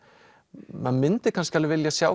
maður myndi kannski alveg vilja sjá